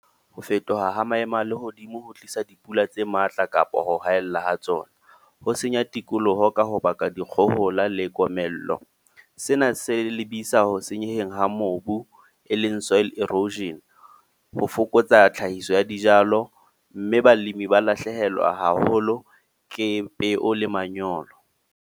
Ho fetoha ha maemo a lehodimo ho tlisa dipula tse matla, kapa ho haella ha tsona. Ho senya tikoloho ka ho baka dikgohola le komello. Sena se lebisa ho senyeheng ha mobu, e leng soil erosion. Ho fokotsa tlhahiso ya dijalo. Mme balimi ba lahlehelwa haholo ke peo le manyolo.